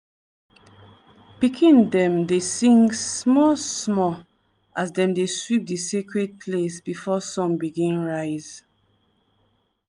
pikin dem dey sing small-small as dem dey sweep di sacred place before sun begin rise.